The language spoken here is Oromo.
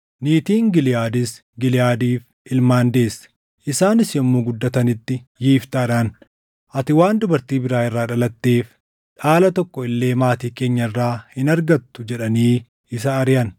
Niitiin Giliʼaadis Giliʼaadiif ilmaan deesse; isaanis yommuu guddatanitti Yiftaadhaan, “Ati waan dubartii biraa irraa dhalatteef dhaala tokko illee maatii keenya irraa hin argattu” jedhanii isa ariʼan.